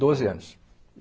Doze anos.